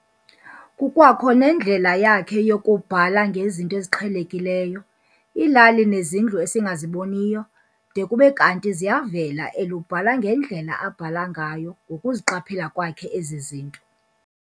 Kukwakho nendlela yakhe yokubhala ngezinto eziqhelekiyo- iilali nezindlu esingasaziboniyo --- de kube kanti ziyavela elubala ngendlela abhala ngayo ngokuziqaphela kwakhe ezi zinto.